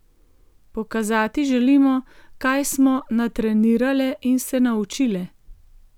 Pokazati želimo, kaj smo natrenirale in se naučile.